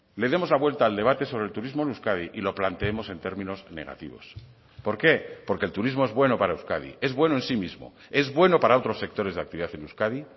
le demos la vuelta al debate sobre el turismo en euskadi y lo planteemos en términos negativos por qué porque el turismo es bueno para euskadi es bueno en sí mismo es bueno para otros sectores de actividad en euskadi